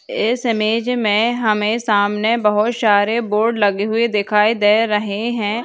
इस इमेज मे हमे सामने बहुत सारे बोर्ड लगे हुए दिखाई दे रहे है।